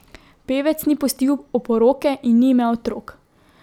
Pevec ni pustil oporoke in ni imel otrok.